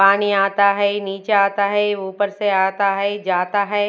पानी आता है नीचे आता है ऊपर से आता है जाता है।